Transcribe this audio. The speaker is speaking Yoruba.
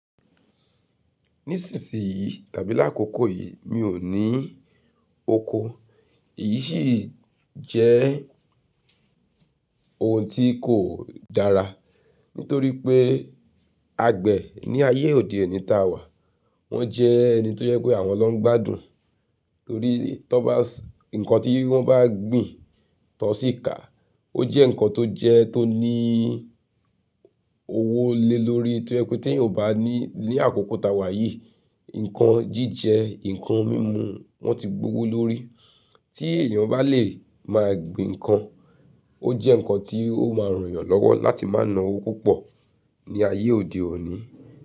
Nísìnsìnyí tàbí lákòókò yìí mi ò ní oko, èyí sì jẹ́ ohun tí kò dára nítorí pé àgbẹ̀ ní ayé òde òni tá wà wọ́n jẹ́ ẹni tó jẹ́ pé àwọn lọ́ ń gbádùn torí tí wọ́n bá, ǹkan tí wọ́n bá gbìn tan sì kà ó jẹ́ ǹkan tó jẹ́ tó nií owó lé lórí toje pe teẹyan bá ní- ile àkókò tá wà yìí ǹkan jíjẹ, ǹkan mímú wọ́n ti gbówó lórí tí èèyàn bá lè máa gbin ǹkan ó jẹ́ ǹkan tí ó máa ràn yàn lọ́wọ́ láti máa ná owó púpọ̀ ní ayé òde òni.